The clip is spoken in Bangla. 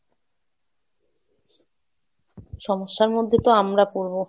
সমস্যার মধ্যে তো আমরা পড়বো।